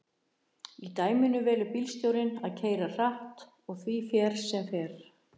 Í dæminu velur bílstjórinn að keyra hratt og því fer sem fer.